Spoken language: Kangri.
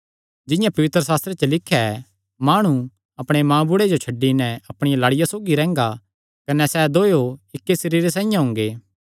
जिंआं पवित्रशास्त्रे च लिख्या ऐ माणु अपणे मांऊबुढ़े जो छड्डी नैं अपणिया लाड़िया सौगी रैंह्गा कने सैह़ दोयो इक्की सरीरे साइआं हुंगे